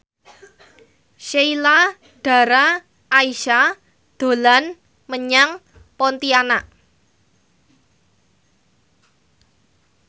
Sheila Dara Aisha dolan menyang Pontianak